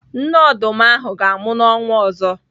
Nne ọdụm ahụ ga-amụ n'ọnwa ọzọ.